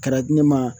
Kɛra di ne ma